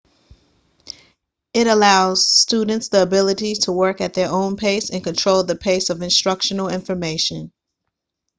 it allows students the ability to work at their own pace and control the pace of instructional information